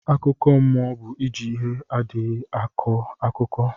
Akụkọ mụọ bu iji ihe adịghi akọ akụkọ